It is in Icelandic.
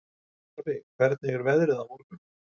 Jarfi, hvernig er veðrið á morgun?